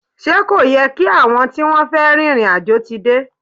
Ṣé kò yẹ kí àwọn tí wọ́n fẹ́ rin ìrìn àjò ti dé?